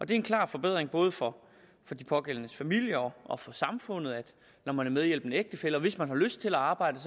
det er en klar forbedring både for de pågældendes familier og for samfundet når man er medhjælpende ægtefælle og hvis man har lyst til at arbejde